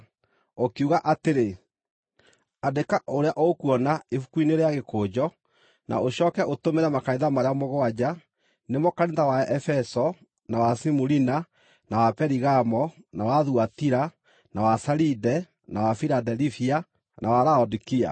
ũkiuga atĩrĩ, “Andĩka ũrĩa ũkuona ibuku-inĩ rĩa gĩkũnjo, na ũcooke ũũtũmĩre makanitha marĩa mũgwanja: nĩmo kanitha wa Efeso, na wa Simurina, na wa Perigamo, na wa Thuatira, na wa Saride, na wa Filadelifia, na wa Laodikia.”